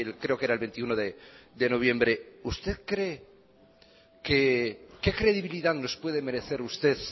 creo que era el veintiuno de noviembre usted cree qué credibilidad nos puede merecer usted